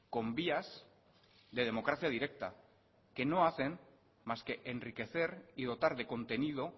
con vías de democracia directa que no hacen más que enriquecer y dotar de contenido